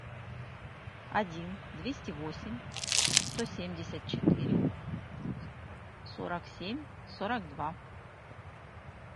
один двести восемь сто семьдесят четыре сорок семь сорок два